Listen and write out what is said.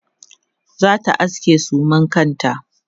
zata aske suman kanta